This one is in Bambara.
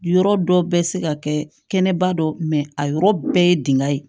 Yɔrɔ dɔ bɛ se ka kɛ kɛnɛba dɔ a yɔrɔ bɛɛ ye dingɛ ye